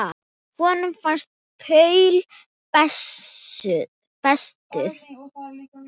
Honum fannst Paul bestur.